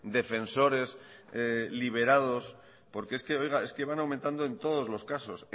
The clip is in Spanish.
defensores liberados porque es que oiga es que van aumentando en todos los casos